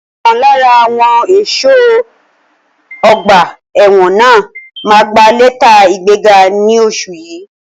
Ọ̀kan lára àwọn ẹ̀ṣọ́ ọgbà ẹ̀wọ̀n náà máa gbà lẹ́tà ìgbẹ́ga ní oṣù yìí.